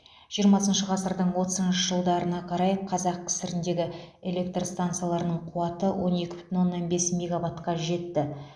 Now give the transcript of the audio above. жиырмасыншы ғасырдың отызыншы жылдарына қарай қазақ кср дегі электр стансаларының қуаты он екі бүтін оннан бес мегаватқа жетті